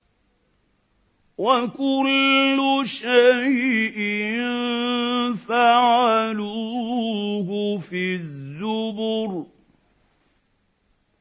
وَكُلُّ شَيْءٍ فَعَلُوهُ فِي الزُّبُرِ